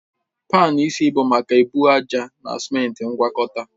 Panu isi bụ maka ebu ájá na simenti ngwakọta